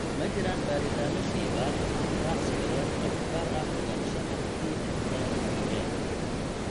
Ma jiraan baaritaanno shaybaar ama habraac sawireed oo u gaar ah ogaanshaha PFAPA.